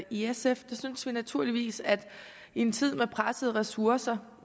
i sf synes vi naturligvis at i en tid med pressede ressourcer